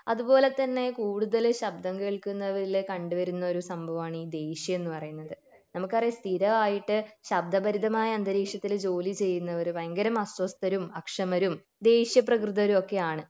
അതുപോലെ തന്നെ കൂടുതൽ ശബ്ദം കേള്കുന്നവരിൽ കണ്ടുവരുന്ന ഒരു സംഭവമാണ് ഈ ദേഷ്യം എന്ന് പറയുന്നത് നമുക്കറിയാം സ്ഥിരം ആയിട്ട് ശബ്ദ പരിതമായ അന്തരീക്ഷത്തിൽ ജോലി ചെയ്യുന്നവർ ഭയങ്കര മഷ്യസ്ഥരും അക്ഷമരും ദേഷ്യ പ്രകൃതരും ഒക്കെ ആണ്